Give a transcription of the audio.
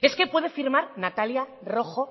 es que puede firmar natalia rojo